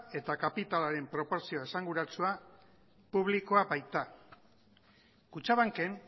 eta kapitalaren proportzio esanguratsua publikoa baita kutxabanken